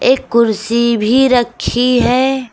एक कुर्सी भी रखी हैं।